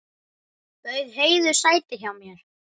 Bauð Heiðu sæti hjá mér.